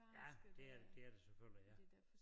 Ja det er det er det selvfølgelig ja